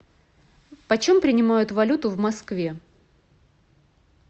почем принимают валюту в москве